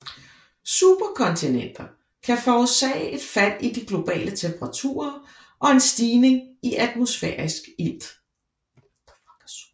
Superkontinenter kan forårsage et fald i de globale temperaturer og en stigning i atmosfærisk ilt